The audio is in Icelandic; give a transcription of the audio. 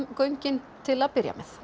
göngin til að byrja með